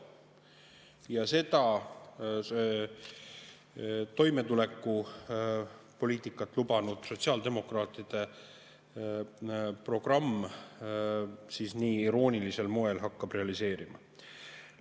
Ja seda hakkab toimetulekupoliitikat lubanud sotsiaaldemokraatide programm siis nii iroonilisel moel realiseerima.